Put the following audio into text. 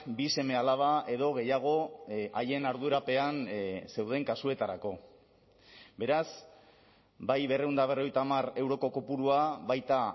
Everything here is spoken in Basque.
bi seme alaba edo gehiago haien ardurapean zeuden kasuetarako beraz bai berrehun eta berrogeita hamar euroko kopurua baita